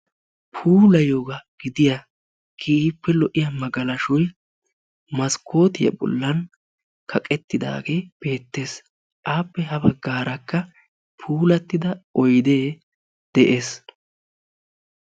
Puulayiyoga gidiya keehippe lo'iya magalashoyi maskkootiya bollan kaqettidaagee beettes. Appe ha baggaarakka puulattida oydee de'es.